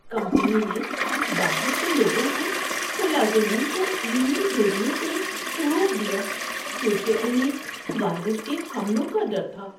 Company نے باہر کے لوگوں کو ملازمین کو ای میل بھیجنے سے روک دیا کیونکہ انہیں وائرس کے حملوں کا ڈر تھا۔